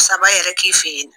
Saba yɛrɛ k'i fɛ yen nɔ.